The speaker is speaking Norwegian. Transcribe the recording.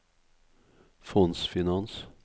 fondsfinans